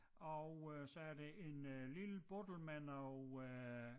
Og øh så er der en øh lille boddel med noget øh